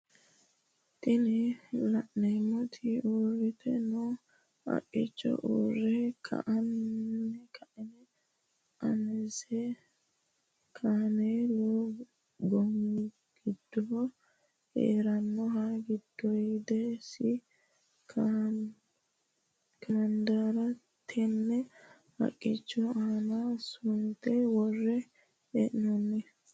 Tini la'neemoti uurrite noo haqqicho murre ka'ne aanase kameelu goomi giddo heerannoha giddoyidisi kamandiira tenne haqqicho aana sunte wore hee'noonni.